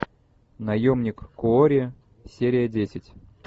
наемник куорри серия десять